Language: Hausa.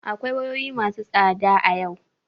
Akwai wayoyi masu tsada a yau.